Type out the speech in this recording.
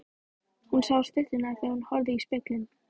Hún sá stytturnar þegar hún horfði í spegilinn.